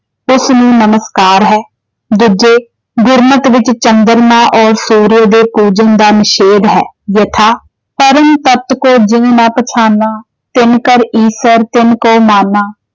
ਸੁੱਖ ਨੂੰ ਨਮਸਕਾਰ ਹੈ। ਦੂਜੇ ਗੁਰਮਤ ਵਿੱਚ ਚੰਦਰਮਾ ਔਰ ਸੂਰਜ ਦੇ ਪੂਜਨ ਦਾ ਨਿਸ਼ੇਦ ਹੈ ਯਥਾ ਪਰਮ ਤਤ ਕੋ ਜਿਨ ਨ ਪਛਾਨਾ ।। ਤਿਨ ਕਰਿ ਈਸਰ ਤਿਨ ਕਹੁ ਮਾਨਾ ।